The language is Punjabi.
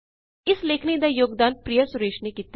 ਇਸ ਲੇਖਨੀ ਦਾ ਯੋਗਦਾਨ ਪ੍ਰਿਆ ਸੁਰੇਸ਼ ਨੇ ਕੀਤਾ